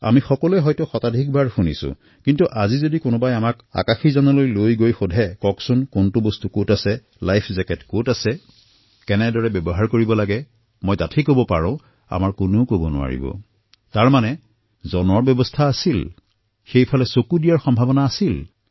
আমি বহুতে ইয়াক এশবাৰ পৰ্যন্ত শুনিছোঁ কিন্তু আজি যদি আমাক উৰাজাহাজৰ মাজত থিয় কৰাই সোধে কোনটো কি বস্তু হয় লাইফ জেকেট কত থাকে কিদৰে ইয়াক ব্যৱহাৰ কৰিব লাগে মই জোৰ দি কব পাৰোঁ যে আমাৰ মাজৰ পৰা কোনেও সেয়া কব নোৱাৰিব ইয়াৰ অৰ্থ হল যে সচেতন কৰাৰ কিবা ব্যৱস্থা আছিল নে প্ৰত্যক্ষভাৱে সেইফালে চোৱাৰ সম্ভাৱনা আছিল আছিল